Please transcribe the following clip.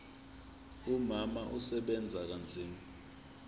umama usebenza kanzima